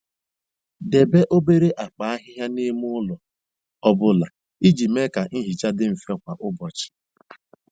Debe obere akpa ahịhịa n'ime ụlọ ọ bụla iji mee ka nhicha dị mfe kwa ụbọchị.